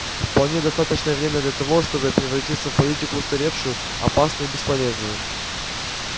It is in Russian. вполне достаточное время для того чтобы превратиться в политику устаревшую опасную и бесполезную